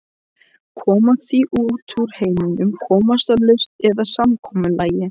Koma því út úr heiminum, komast að lausn eða samkomulagi.